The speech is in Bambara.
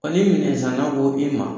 Ko ni minɛn san na ko i ma